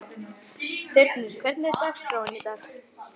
Þyrnir, hvernig er dagskráin í dag?